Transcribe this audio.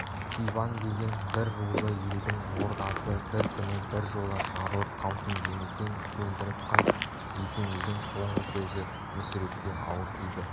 сибан деген бір рулы елдің ордасы бір күні біржола жабылып қалсын демесең көндіріп қайт есенейдің соңғы сөзі мүсірепке ауыр тиді